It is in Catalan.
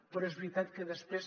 però és veritat que després